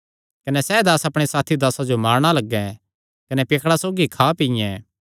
कने अपणे साथी दासां जो मारणा लग्गैं कने पियक्कड़ां सौगी खां पीयें